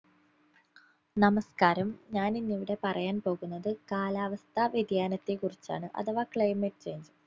നമസ്കാരം ഞാൻ ഇന്ന് ഇവിടെ പറയാൻ പോകുന്നത് കാലാവസ്ഥാ വ്യതിയാനത്തെ കുറിച്ചാണ് അഥവാ climate change